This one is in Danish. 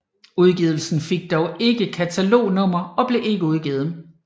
Udgivelsen fik dog ikke et katalognummer og blev ikke udgivet